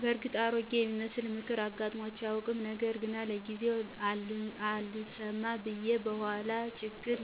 በእርግጥ አሮጌ የሚመስል ምክር አጋጥሞኝ አያውቅም። ነገር ግን ለጊዜው አልሰማ ብየ በኋላ ችግር